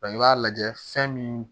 i b'a lajɛ fɛn min